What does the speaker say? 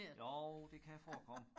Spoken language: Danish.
Jo det kan forekomme